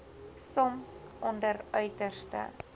soms onder uiterste